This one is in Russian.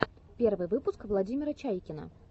первый выпуск владимира чайкина